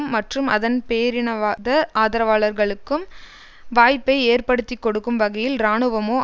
மற்றும் அதன் பேரினவாத ஆதரவாளர்களுக்கும் வாய்ப்பை ஏற்படுத்திக்கொடுக்கும் வகையில் இராணுவமோ